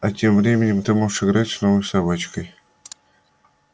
а тем временем ты можешь играть с новой собачкой